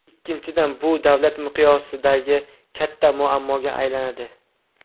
Ikkinchidan, bu davlat miqyosidagi katta muammoga aylanadi.